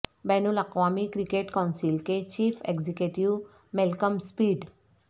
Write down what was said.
بین الاقوامی cricket council کے chief executive Malcolm speed